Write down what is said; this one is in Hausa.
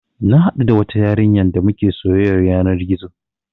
Na haɗu da wata yarinya damuke soyyar yanar gizo